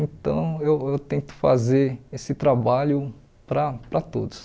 Então, eu eu tento fazer esse trabalho para para todos.